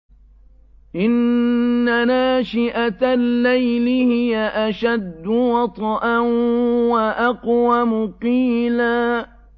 إِنَّ نَاشِئَةَ اللَّيْلِ هِيَ أَشَدُّ وَطْئًا وَأَقْوَمُ قِيلًا